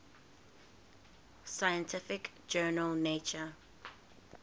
scientific journal nature